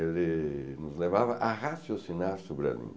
Ele nos levava a raciocinar sobre a língua.